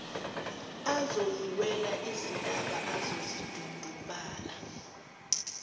azoyiwela izintaba azozidundubala